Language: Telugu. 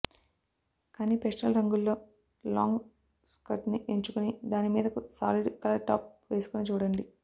కానీ పేస్టల్ రంగుల్లో లాంగ్ స్కర్ట్ని ఎంచుకుని దానిమీదకు సాలిడ్ కలర్ టాప్ వేసుకుని చూడండి